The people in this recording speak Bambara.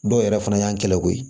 Dɔw yɛrɛ fana y'an kɛlɛ ko ye